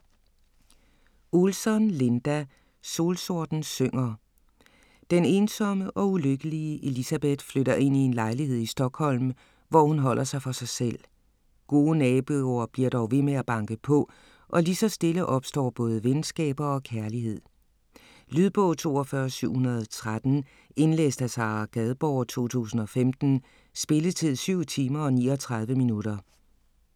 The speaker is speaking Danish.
Olsson, Linda: Solsorten synger Den ensomme og ulykkelige Elisabeth flytter ind i en lejlighed i Stockholm, hvor hun holder sig for sig selv. Gode naboer bliver dog ved med at banke på, og lige så stille opstår både venskaber og kærlighed. Lydbog 42713 Indlæst af Sara Gadborg, 2015. Spilletid: 7 timer, 39 minutter.